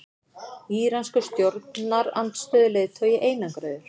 Íranskur stjórnarandstöðuleiðtogi einangraður